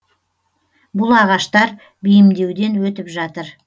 бұл ағаштар бейімдеуден өтіп жатыр